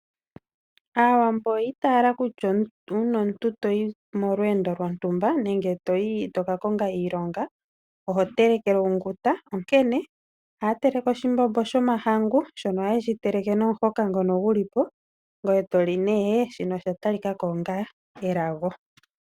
Aawambo oyi itaala kutya uuna omuntu to yi molweendo lwontumba nenge to ka konga iilonga owu na okutelekelwa onguta. Ohaya teleke oshimbombo shomahangu nomahoka ngono geli po omuntu ta li nee. Osha talika ko onga elago.